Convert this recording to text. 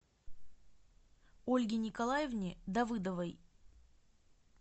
ольге николаевне давыдовой